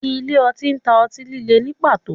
Ile-oti ǹ ta o ọti-lile ni pato